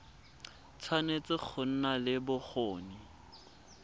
tshwanetse go nna le bokgoni